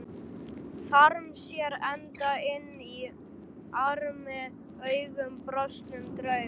Þarm sér enda inn armi augum brostnum drauga.